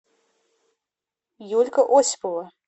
юлька осипова